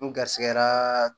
N garisigɛra